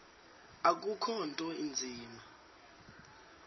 akukho nto inzima